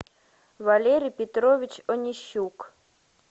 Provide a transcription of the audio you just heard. валерий петрович онищук